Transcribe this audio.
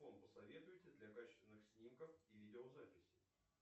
посоветуете для качественных снимков и видеозаписей